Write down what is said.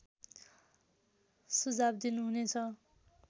सुझाव दिनुहुने छ